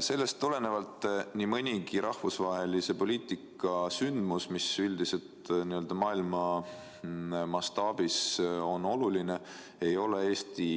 Sellest tulenevalt nii mõnigi rahvusvahelise poliitika sündmus, mis maailma mastaabis on oluline, ei ole Eesti